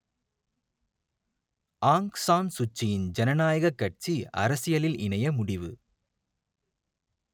ஆங் San சூச்சியின் ஜனநாயகக் கட்சி அரசியலில் இணைய முடிவு